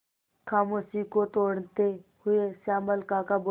खामोशी को तोड़ते हुए श्यामल काका बोले